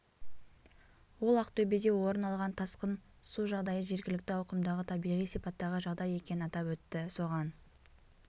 ол ақтөбеде орын алған тасқын су жағдайы жергілікті ауқымдағы табиғи сипаттағы жағдай екенін атап өтті соған